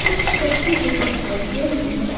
कुछ करती हुई दिखाई दे रही है।